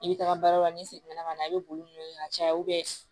I bɛ taga baarayɔrɔ la ni segin na ka na i bɛ boli n'o ye ka caya